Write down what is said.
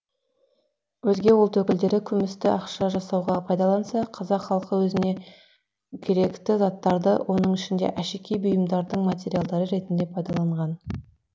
өзге ұлт өкілдері күмісті ақша жасауға пайдаланса қазақ халқы өзіне керекті заттарды оның ішінде әшекей бұйымдардың материалы ретіде пайдаланған